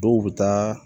Dɔw bɛ taa